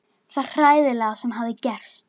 Hann skilur það ekki.